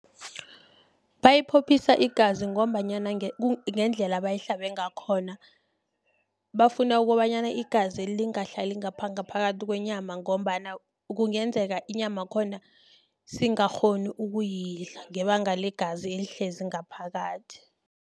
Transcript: Bayiphophisa igazi, ngombanyana ngendlela ebayihlabe ngakhona, bafuna ukobanyana igazeli lingehlali ngapha ngaphakathi kwenyama, ngombana kungenzeka inyama yakhona singakghonu ukuyidla, ngebanga ligazi ehlezi ngaphakathi.